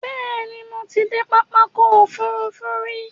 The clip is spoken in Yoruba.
Bẹ́ẹ̀ni, Mo ti de pápákọ̀ òfurufú rí